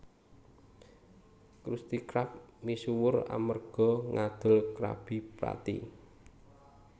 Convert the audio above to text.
Krusty Krab misuwur amerga ngadol Krabby Patty